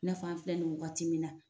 I n'a fɔ an filɛ nin waati min na